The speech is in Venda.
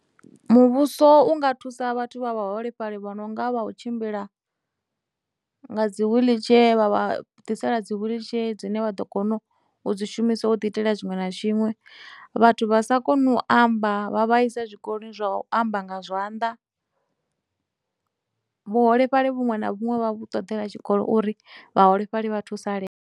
Muvhuso unga thusa vhathu vha vhaholefhali vho no nga vha u tshimbila nga dzi wheelchair vha vha ḓisela dzi wheelchair dzine vha ḓo kono u dzi shumisa u ḓi itela tshiṅwe na tshiṅwe. Vhathu vha sa koni u amba vha vha isa zwikoloni zwa u amba nga zwanḓa, vhuholefhali vhuṅwe na vhuṅwe vha vhu ṱoḓela tshikolo uri vhaholefhali vha thusalee.